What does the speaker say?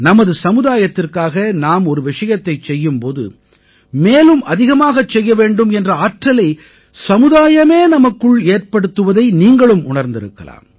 நமது சமுதாயத்திற்காக நாம் ஒரு விஷயத்தைச் செய்யும் போது மேலும் அதிகமாகச் செய்ய வேண்டும் என்ற ஆற்றலை சமுதாயமே நமக்குள்ளே ஏற்படுத்துவதை நீங்களும் உணர்ந்திருக்கலாம்